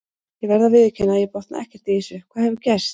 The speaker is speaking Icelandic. Ég verð að viðurkenna að ég botna ekkert í þessu, hvað hefur gerst?